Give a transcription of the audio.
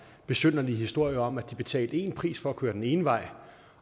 besynderlige historier om at de betalte én pris for at køre den ene vej